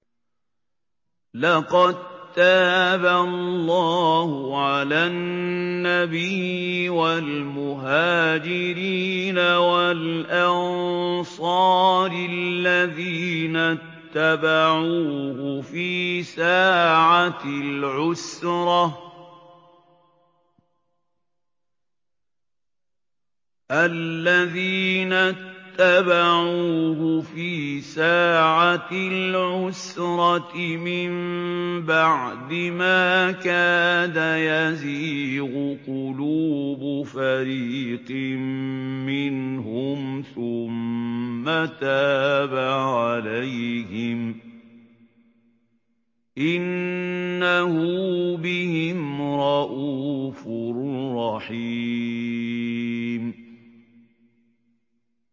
لَّقَد تَّابَ اللَّهُ عَلَى النَّبِيِّ وَالْمُهَاجِرِينَ وَالْأَنصَارِ الَّذِينَ اتَّبَعُوهُ فِي سَاعَةِ الْعُسْرَةِ مِن بَعْدِ مَا كَادَ يَزِيغُ قُلُوبُ فَرِيقٍ مِّنْهُمْ ثُمَّ تَابَ عَلَيْهِمْ ۚ إِنَّهُ بِهِمْ رَءُوفٌ رَّحِيمٌ